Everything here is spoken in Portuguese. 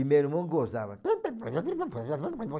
E meu irmão gozava.